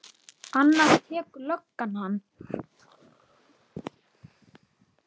Annars tekur löggan hann.